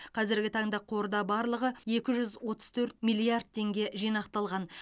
қазіргі таңда қорда барлығы екі жүз отыз төрт миллиард теңге жинақталған